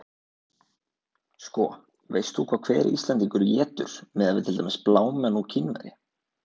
Sko, veist þú hvað hver Íslendingur étur miðað við til dæmis blámenn og Kínverja?